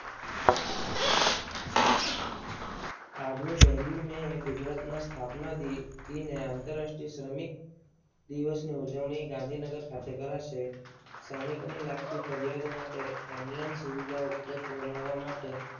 આજની પહેલી મે એ ગુજરાતના સ્થાપના દિન એ આંતરરાષ્ટ્રીય શ્રમિક દિવસની ઉજવણી ગાંધીનગર ખાતે કરાશે. શ્રમિકોને લગતી ફરિયાદો માટે ઓનલાઈન સુવિધા ઉપલબ્ધ બનાવવા માટે